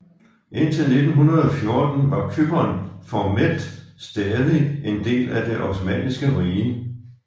Indtil 1914 var Cypern formelt stadig en del af det Osmanniske Rige